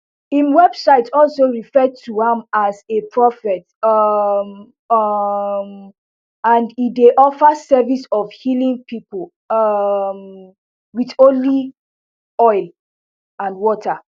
im website also refer to am as a prophet um um and e dey offer services of healing pipo um wit holy oil and water